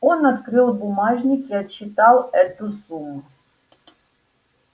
он открыл бумажник и отсчитал эту сумму